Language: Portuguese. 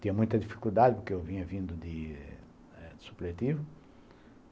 Tinha muita dificuldade, porque eu vinha vindo de eh supletivo.